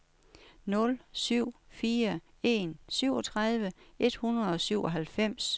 nul syv fire en syvogtredive et hundrede og syvoghalvfems